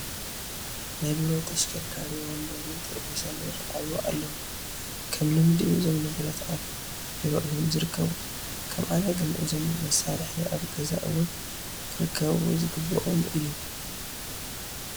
ናይ ቢሮ ተሽከርካሪ ወንበርን ጠረጴዛን ይርአዩ ኣለዉ፡፡ ከም ልምዲ እዞም ንብረት ኣብ ቢሮ እዮም ዝርከቡ፡፡ ከም ኣነ ግን እዞም መሳርሒ ኣብ ገዛ እውን ክርከቡ ዝግብኦም እዮም፡፡